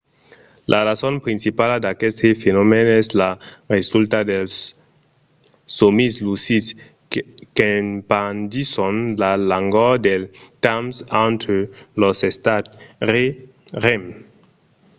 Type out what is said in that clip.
la rason principala d'aqueste fenomèn es la resulta dels sòmis lucids qu'espandisson la longor del temps entre los estats rem